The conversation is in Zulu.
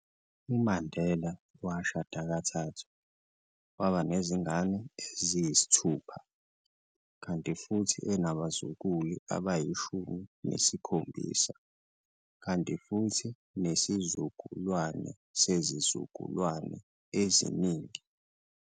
UMandela washada kathathu, waba nezingane eziyithupha, kanti futhi enabazuluku abayishumi nesikhombisa kanti futhi nezizukulwana zezizukulwane eziningi.